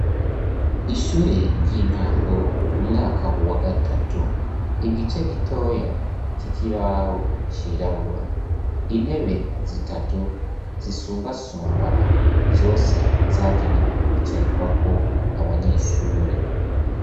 Ishure ry'intango, umwaka wa gatatu. Igice gitoya c'ikibaho cirabura. Intebe zitatu zisumbasumbana. Zose zagenewe kwicarikwako abanyeshure.